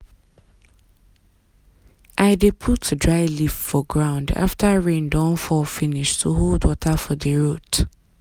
i dey put dry leaf for ground after rain don fall finish to hold water for di root.